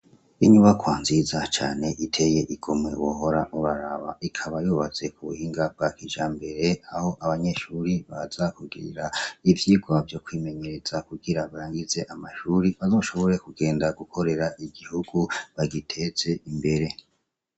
Inyubakwa nziza cane iteye igomwe wohora uraraba, ikaba yubatse ku buhinga bwa kijambere aho abanyeshure baza kugirira ivyigwa vyo kwimenyereza kugira barangize amashure, bazoshobore kugenda gukorera igihugu, bagiteze imbere.